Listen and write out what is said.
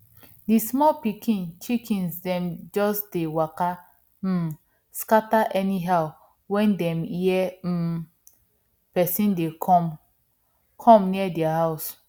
di small pikin chickens dem just dey waka um scatter anyhow when dem hear um person dey come come near dia house